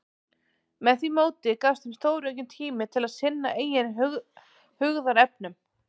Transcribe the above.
Með því móti gafst þeim stóraukinn tími til að sinna eigin hugðarefnum.